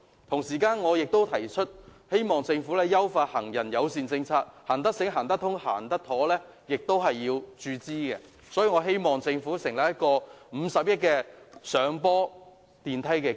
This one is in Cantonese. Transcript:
同時，我亦希望政府優化行人友善政策，至於能否讓行人"行得醒、行得通、行得妥"，亦須注資，希望政府能成立一個50億元的"上坡電梯基金"。